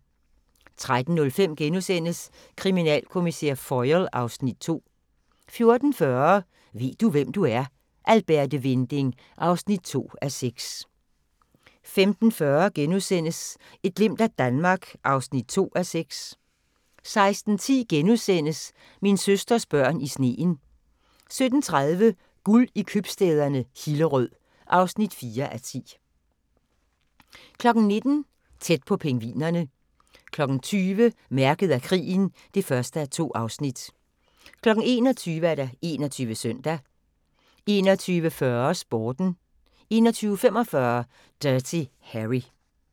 13:05: Kriminalkommissær Foyle (Afs. 2)* 14:40: Ved du, hvem du er? - Alberte Winding (2:6) 15:40: Et glimt af Danmark (2:6)* 16:10: Min søsters børn i sneen * 17:30: Guld i købstæderne - Hillerød (4:10) 19:00: Tæt på pingvinerne 20:00: Mærket af krigen (1:2) 21:00: 21 Søndag 21:40: Sporten 21:45: Dirty Harry